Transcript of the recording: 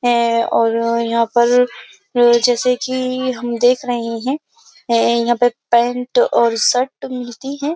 है और यहाँ पर जैसे कि हम देख रहे हैं यहाँ पर पैंट और शर्ट मिलती है।